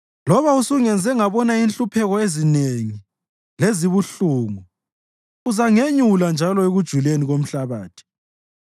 Loba usungenze ngabona inhlupheko ezinengi lezibuhlungu, uzangenyula njalo ekujuleni komhlabathi.